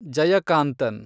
Jayakanthan